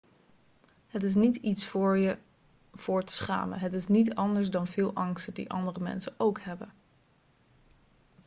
het is niet iets voor je voor te schamen het is niet anders dan veel angsten die andere mensen ook hebben